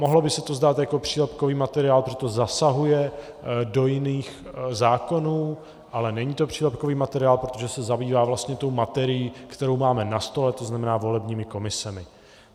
Mohlo by se to zdát jako přílepkový materiál, protože to zasahuje do jiných zákonů, ale není to přílepkový materiál, protože se zabývá vlastně tou materií, kterou máme na stole, to znamená volebními komisemi.